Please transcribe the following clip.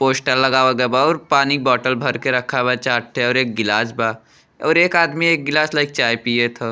Poster लगावल गइल बा और पानी का बोतल भर के रखल बा चार ठो और एक गिलास बा और एक आदमी एक गिलास लेके चाय पियत ह।